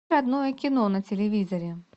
родное кино на телевизоре